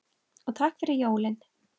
Og takk fyrir jólin.